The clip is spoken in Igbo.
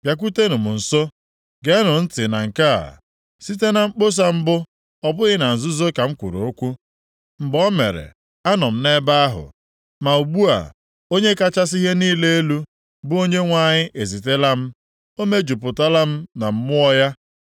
“Bịakwutenụ m nso, geenụ ntị na nke a: “Site na mkpọsa mbụ ọ bụghị na nzuzo ka m kwuru okwu; mgbe o mere anọ m nʼebe ahụ.” Ma ugbu a, Onye kachasị ihe niile elu, bụ Onyenwe anyị ezitela m, o mejupụtala m na Mmụọ ya.